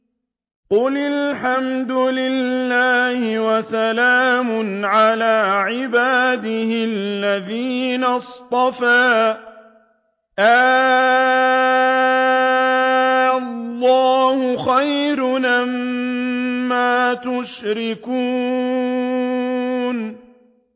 قُلِ الْحَمْدُ لِلَّهِ وَسَلَامٌ عَلَىٰ عِبَادِهِ الَّذِينَ اصْطَفَىٰ ۗ آللَّهُ خَيْرٌ أَمَّا يُشْرِكُونَ